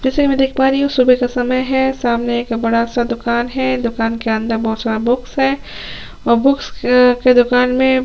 जैसे की देख पा रही हु सुबह का समय है सामने एक बड़ा-सा दुकान है दुकान के अंदर बहोत सारा बुक है बुक्स के दुकान में--